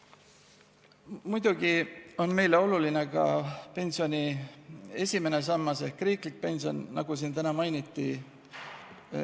Muidugi on meile oluline ka pensioni esimene sammas ehk riiklik pension, nagu siin täna mainiti.